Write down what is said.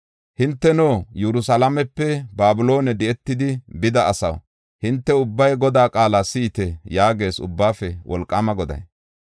Hinteno, Yerusalaamepe Babiloone di7etidi bida asaw, hinte ubbay Godaa qaala si7ite” yaagees Ubbaafe Wolqaama Goday.